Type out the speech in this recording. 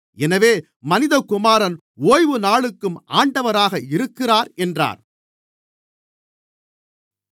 எனவே மனிதகுமாரன் ஓய்வுநாளுக்கும் ஆண்டவராக இருக்கிறார் என்றார்